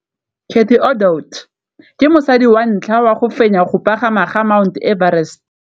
Cathy Odowd ke mosadi wa ntlha wa go fenya go pagama ga Mt Everest.